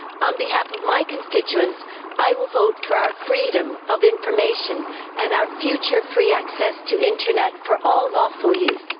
On behalf of my constituents, I will vote for our freedom of information and our future free access to Internet for all lawful use.